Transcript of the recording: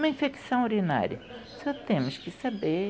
Uma infecção urinária, só temos que saber